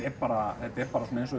bara svona